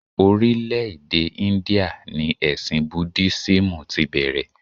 Orílè-èdè India ni ẹ̀sìn Budísímù tí bẹ̀rẹ̀